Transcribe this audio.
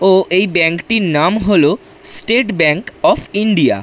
ও এই ব্যাংক টির নাম হল স্টেট ব্যাংক অফ ইন্ডিয়া ।